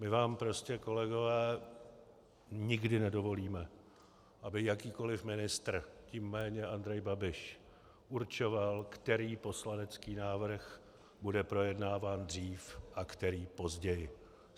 My vám prostě, kolegové, nikdy nedovolíme, aby jakýkoliv ministr, tím méně Andrej Babiš, určoval, který poslanecký návrh bude projednáván dřív a který později.